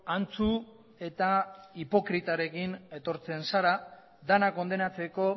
antzu eta hipokritarekin etortzen zara denak kondenatzeko